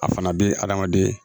A fana bɛ adamaden